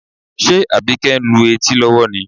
Ṣe Àbíkẹ́ ń lu etí lọ́wọ́ ni?